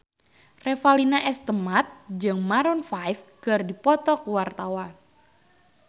Revalina S. Temat jeung Maroon 5 keur dipoto ku wartawan